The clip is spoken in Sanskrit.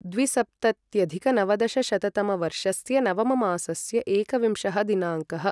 द्विसप्तत्यधिकनवदशशततमवर्षस्य नवममासस्य एकविंशः दिनाङ्कः